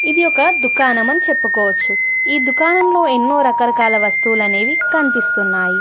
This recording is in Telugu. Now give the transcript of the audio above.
ఇది ఒక దుకాణమని చెప్పుకోవచ్చు ఈ దుకాణంలో ఎన్నో రకరకాల వస్తువులనేవి కన్పిస్తున్నాయి.